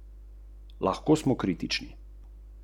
Kakšno naključje!